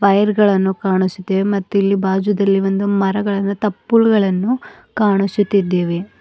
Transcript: Wire ಗಳನ್ನು ಕಾಣಿಸುತ್ತಿವೆ ಮತ್ತು ಇಲ್ಲಿ ಬಾಜುದಲ್ಲಿ ಒಂದು ಮರಗಳನ್ನು ತಪ್ಪುಲುಗಳನ್ನು ಕಾಣಿಸುತ್ತಿದ್ದೇವೆ.